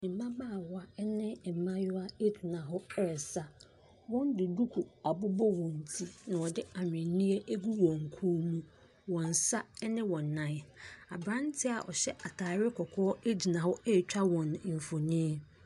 Mmabaawa ne mmaayewa gyina hɔ resa. Wɔde duku abobɔ wɔn ti, ɛna wɔde ahweneɛ agu wɔn kɔn mu, wɔn nsa ne wɔn nan. Aberanteɛ a ɔhyɛ atade kɔkɔɔ gyina hɔ retwa wɔn mfonin.